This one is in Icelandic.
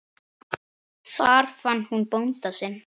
Þar fann hún bónda sinn.